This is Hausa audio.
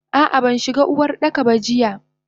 Ah ah banshiga Uwardaka ba jiya.